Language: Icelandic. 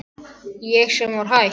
Ég sem var hætt.